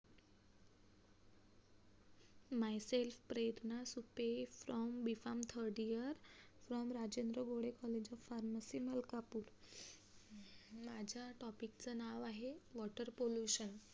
my self Prerna Supe from B farm third year from Rajendra Gode college of pharmacy Malkapur माझ्या topic च नाव आहे water pollution